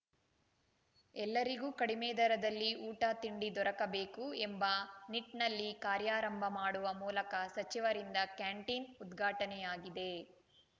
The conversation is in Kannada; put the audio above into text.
ಎಲ್ಲರಿಗೂ ಕಡಿಮೆ ದರದಲ್ಲಿ ಊಟ ತಿಂಡಿ ದೊರಕಬೇಕು ಎಂಬ ನಿಟ್ಟಲ್ಲಿ ಕಾರ್ಯಾರಂಭ ಮಾಡುವ ಮೂಲಕ ಸಚಿವರಿಂದ ಕ್ಯಾಂಟೀನ್‌ ಉದ್ಘಾಟನೆಯಾಗಿದೆ